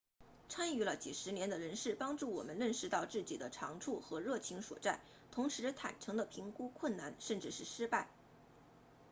参与了几十年的人士帮助我们认识到自己的长处和热情所在同时坦诚地评估困难甚至是失败